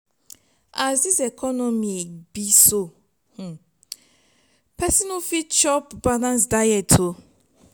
as dis economy be so pesin no fit chop balanced diet o.